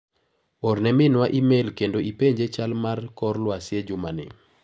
Orne minwa imel kendo ipenje chal mar kor lwasi e juma ni.